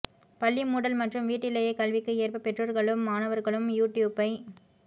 பள்ளி மூடல் மற்றும் வீட்டிலேயே கல்விக்கு ஏற்ப பெற்றோர்களும் மாணவர்களும் யூடியூப்பை